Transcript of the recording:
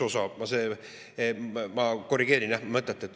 Ma korrigeerin mõtet.